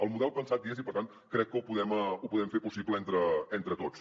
el model pensat hi és i per tant crec que ho podem fer possible entre tots